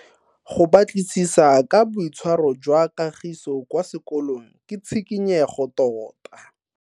Go batlisisa ka boitshwaro jwa Kagiso kwa sekolong ke tshikinyego tota.